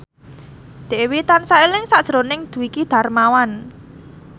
Dewi tansah eling sakjroning Dwiki Darmawan